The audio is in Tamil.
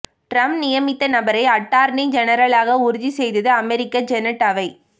டிரம்ப் நியமித்த நபரை அட்டார்னி ஜெனரலாக உறுதி செய்தது அமெரிக்க செனட் அவை